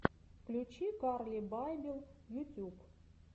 включи карли байбел ютьюб